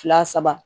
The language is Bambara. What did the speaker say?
Fila saba